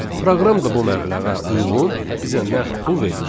Proqram da bu məbləğə uyğun bizə nəqd pul verir.